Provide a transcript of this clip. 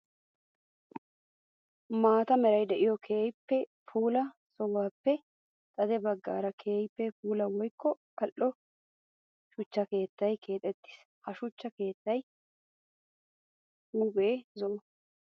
Maata meray de'iyo keehippe puula sohuwappe xade bagan keehippe puula woykko ali'o shuchcha keettay keexettis. Ha shuchcha keetta huuphe zo'o.